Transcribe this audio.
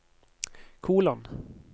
kolon